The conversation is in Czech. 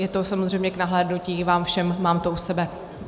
Je to samozřejmě k nahlédnutí vám všem, mám to u sebe.